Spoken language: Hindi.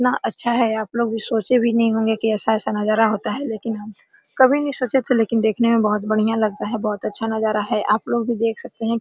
इतना अच्छा है आप लोग भी सोचे भी नहीं होंगे कि ऐसा-ऐसा नजारा होता है लेकिन हम कभी नहीं सोचे थे लेकिन देखने में बहुत बढ़िया लगता है बहुत अच्छा नजारा है आप लोग भी देख सकते है।